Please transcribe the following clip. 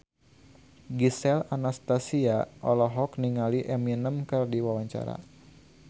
Gisel Anastasia olohok ningali Eminem keur diwawancara